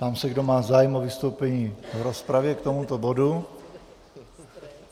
Ptám se, kdo má zájem o vystoupení v rozpravě k tomuto bodu.